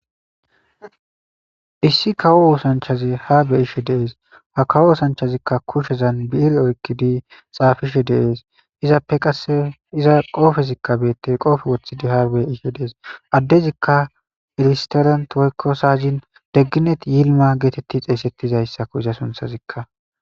issi kawo wosanchazi ha be ishe deees ha kawo wosanchazikka kushezan bi7ire oykkidi xaafishe deees izappe qase iza qoofezikka beettey qoofe wothidi harbe ishe dees addezikka ilisterant woykko saazin degginet yilma geetetti xeessettizayssakko iza sunthazikka